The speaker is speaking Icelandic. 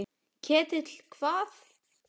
Ketill hvað?